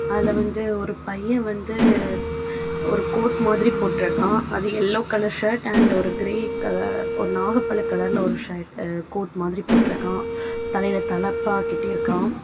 அதுல வந்து ஒரு பையன் வந்து ஒரு கோட் மாதிரி போட்டு இருக்கான் அது எல்லோ கலர் ஷர்ட் அண்ட் ஒரு க்ரே கலர் ஒரு நாகப்பழ கலர்ல ஒரு சர்ட் கோர்ட் மாதிரி போட்டு இருக்கான் தலையில தலப்பாக்கட்டி இருக்கான்.